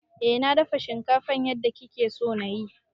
Eh na dafa shinkafan yadda kike so na yi.